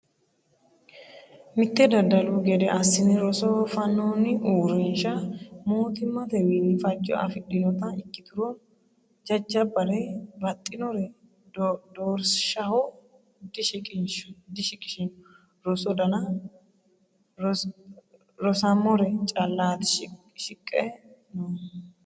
Mite daddalu gede assine rosoho fanoni uurrinsha mootimmatewinni fajo afidhinotta ikkiturono jajjabbare baxxinore doorishaho dishiqishino rosu danna rosamore callati shiqqe noohu.